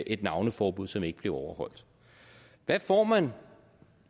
et navneforbud som ikke blev overholdt hvad får man